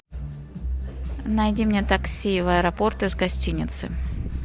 найди мне такси в аэропорт из гостиницы